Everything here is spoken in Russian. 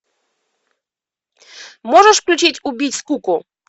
можешь включить убить скуку